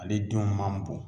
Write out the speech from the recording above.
Ale denw man bon